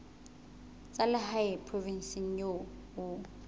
tsa lehae provinseng eo o